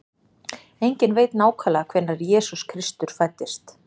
Enginn veit nákvæmlega hvenær Jesús Kristur fæddist.